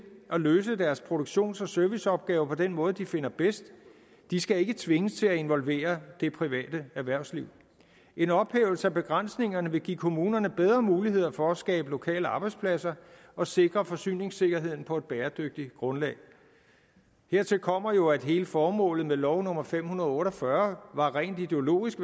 at løse deres produktions og serviceopgaver på den måde som de finder bedst de skal ikke tvinges til at involvere det private erhvervsliv en ophævelse af begrænsningerne vil give kommunerne bedre muligheder for at skabe lokale arbejdspladser og sikre forsyningssikkerheden på et bæredygtigt grundlag hertil kommer jo at hele formålet med lov nummer fem hundrede og otte og fyrre var rent ideologisk